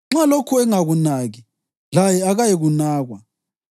Nxa lokhu engakunaki, laye akayikunakwa.